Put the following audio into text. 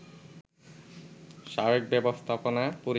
সাবেক ব্যবস্থাপনা পরিচালক